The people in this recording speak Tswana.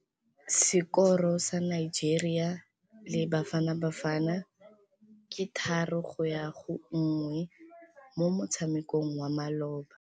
Sekôrô sa Nigeria le Bafanabafana ke 3-1 mo motshamekong wa malôba.